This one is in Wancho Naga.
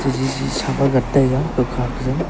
jiji saman ngantaiga kamkha jaw.